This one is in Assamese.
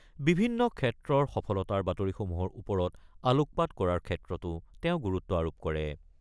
বিভিন্ন ক্ষেত্ৰৰ সফলতাৰ বাতৰিসমূহৰ ওপৰত আলোকপাত কৰাৰ ক্ষেত্ৰতো তেওঁ গুৰুত্ব আৰোপ কৰে।